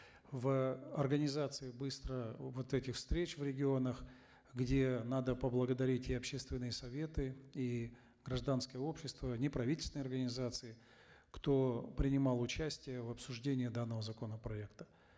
в организации быстро вот этих встреч в регионах где надо поблагодарить и общественные советы и гражданское общество неправительственные организации кто принимал участие в обсуждении данного законопроекта